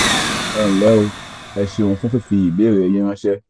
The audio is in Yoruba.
ẹ nlẹ́ o ẹ ṣeun fún fífi ìbéèrè yín yín ránṣẹ́